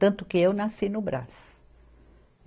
Tanto que eu nasci no Brás.